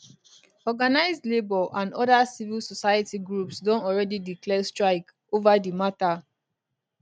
organized labour and oda civil society groups don already declare strike ova di mata